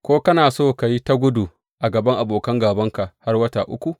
Ko kana so ka yi ta gudu a gaban abokan gābanka har wata uku?